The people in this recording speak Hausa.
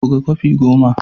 Buga kwafi goma.